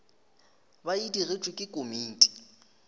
ba e digetšwe ke komiti